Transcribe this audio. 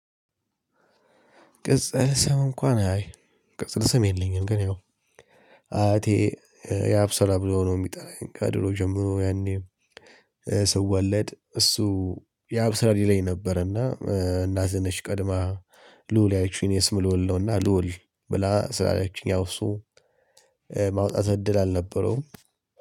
ቅጽል ሰም እንኳን አይ ቅጽል ሰም የለኝም። ግን ያው አያቴ ያብ ሰራ ብሎ ነው የሚጠራኝ ከድሮ ጀምሮ ያኔ ስወለድ እሱ ያብስራ ሊለኝ ነበርና። እናቴ ነች ቀድማ ልዑል ያለችኝ የ ኔ ስም ልዑል ነውና ልዑል ብላ ስላለችኝ ያው እሱ ማውጣት እድል አልነበረውም